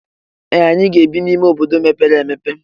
Ee! Anyị ga-ebi n'ime obodo mepere emepe.